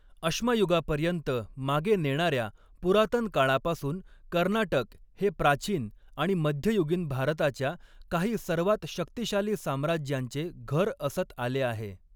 अश्मयुगापर्यंत मागे नेणाऱ्या पुरातनकाळापासून, कर्नाटक हे प्राचीन आणि मध्ययुगीन भारताच्या काही सर्वात शक्तिशाली साम्राज्यांचे घर असत आले आहे.